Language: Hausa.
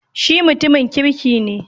Shi mutumin kirki ne